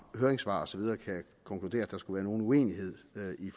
høringssvar og så videre kan konkludere at der skulle være nogen uenighed i